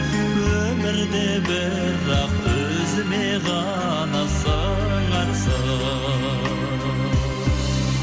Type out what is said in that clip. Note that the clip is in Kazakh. өмірде бірақ өзіме ғана сыңарсың